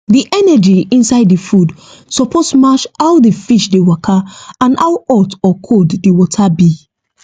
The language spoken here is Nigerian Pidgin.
the energy inside the food suppose match how the fish dey waka and how hot or cold the water be